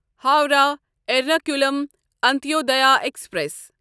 Howrah Ernakulam Antyodaya express